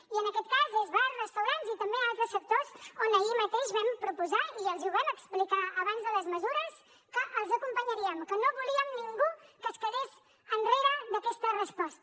i en aquest cas és bars restaurants i també altres sectors on ahir mateix vam proposar i els hi ho vam explicar abans de les mesures que els acompanyaríem que no volíem que ningú es quedés enrere d’aquesta resposta